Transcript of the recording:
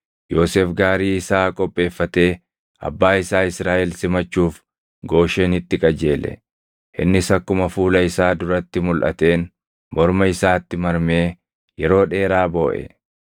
Yoosef gaarii isaa qopheeffatee abbaa isaa Israaʼel simachuuf Gooshenitti qajeele. Innis akkuma fuula isaa duratti mulʼateen morma isaatti marmee yeroo dheeraa booʼe.